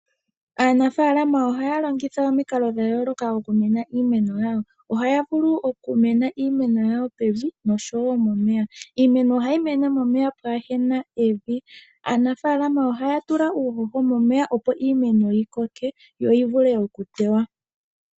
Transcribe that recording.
Aanafaalama ohaya longitha omikalo dha yooloka oku kuna iimeno yawo, ohaya vulu oku kuna iimeno yawo pevi noshowo momeya. Iimeno ohayi mene momeya pwaana evi. Aanafaalama ohaya tula uuhoho momeya, opo iimeno yi koke, yo yi vule okutewa.